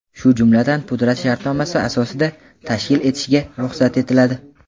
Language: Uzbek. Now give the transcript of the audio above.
shu jumladan pudrat shartnomasi asosida tashkil etishga ruxsat etiladi.